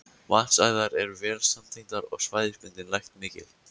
Vatnsæðar eru vel samtengdar og svæðisbundin lekt mikil.